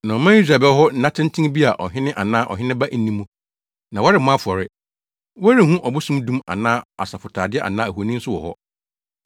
Na ɔman Israel bɛwɔ hɔ nna tenten bi a ɔhene anaa ɔheneba nni mu, na wɔremmɔ afɔre. Wɔrenhu ɔbosom dum anaa asɔfotade anaa ahoni nso wɔ hɔ.